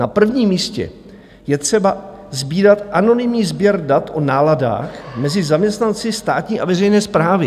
"Na prvním místě je třeba sbírat anonymní sběr dat o náladách mezi zaměstnanci státní a veřejné správy."